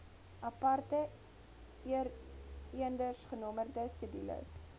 aparte eendersgenommerde skedules